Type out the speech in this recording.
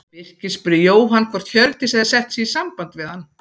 Birkir spurði Jóhann hvort Hjördís hefði sett sig í samband við hann.